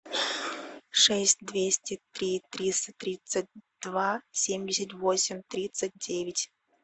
шесть двести три триста тридцать два семьдесят восемь тридцать девять